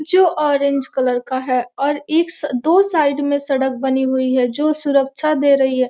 जो orange colour और एक दो साइड में सड़क बनी हुई है जो सुरक्षा दे रही है।